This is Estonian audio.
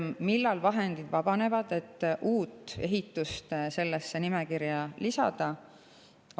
Millal vabanevad vahendid, et uus ehitus sellesse nimekirja lisada?